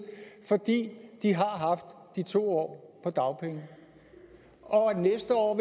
fordi de har haft de to år på dagpenge og næste år